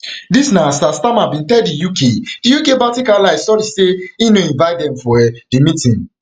dis na as sir starma biin tell di uk di uk baltic allies sorry say e no invite dem for um di meeting